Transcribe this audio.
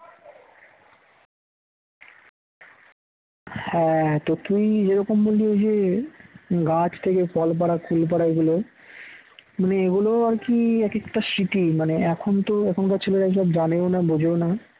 হ্যাঁ তো তুই এরকম বললি ওই যে গাছ থেকে ফল পাড়া কুল পাড়া এগুলো মানে এগুলো আর কি একেকটা স্মৃতি মানে এখন তো এখনকার ছেলেরা এইসব জানেও না বোঝেও না।